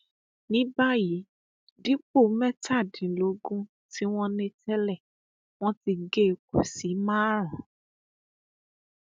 ní báyìí dípò mẹtàdínlógún tí wọn ní tẹlẹ wọn ti gé e kù sí márùnún